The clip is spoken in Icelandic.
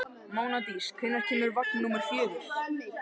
Mánadís, hvenær kemur vagn númer fjögur?